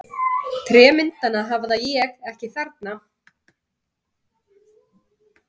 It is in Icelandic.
Trémyndina hafði ég ekki þarna.